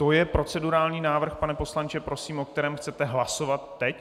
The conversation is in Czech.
To je procedurální návrh, pane poslanče, prosím, o kterém chcete hlasovat teď?